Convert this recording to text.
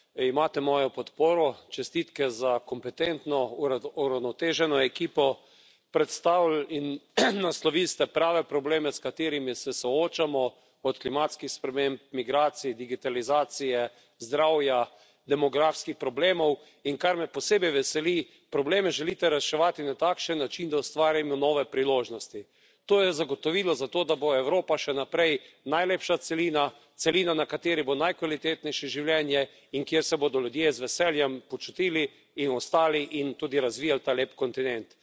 Imate mojo podporo. Čestitke za kompetentno, uravnoteženo ekipo. Predstavili in naslovili ste prave probleme, s katerimi se soočamo, od klimatskih sprememb, migracij, digitalizacije, zdravja, demografskih problemov. In kar me posebej veseli, probleme želite reševati na takšen način, da ustvarimo nove priložnosti. To je zagotovilo za to, da bo Evropa še naprej najlepša celina, celina, na kateri bo najkvalitetnejše življenje in kjer se bodo ljudje z veseljem počutili in ostali in tudi razvijali ta lep kontinent.